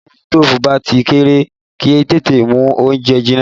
Tí òwú sitofu bá ti kéré, kì í tètè mú oúnjẹ jinná